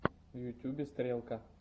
в ютубе стрелка